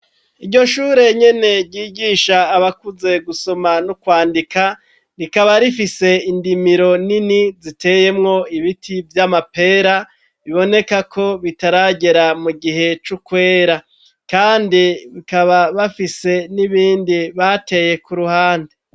Iryo shure nyene ryigisha abakunze gusoma no kwandika, rikaba rifise indimiro nini ziteyemwo ibiti vy'amapera, biboneka ko bitaragera mu gihe c'ukwera,, kandi bikaba bafise n'ibindi bateye ku ruhande.